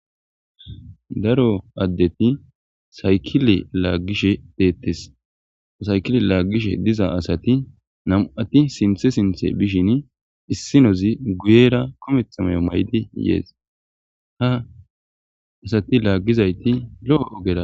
Daro addeti saykile laagishe deettes saykile laaggishe diza asati namu7ati sinthe sinthe bishin issinozi guyera kometha mayo may7di yees ha asati laaggizayti lo7o ogera.